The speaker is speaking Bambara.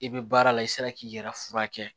I bɛ baara la i sera k'i yɛrɛ furakɛ